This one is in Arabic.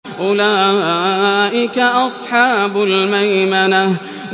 أُولَٰئِكَ أَصْحَابُ الْمَيْمَنَةِ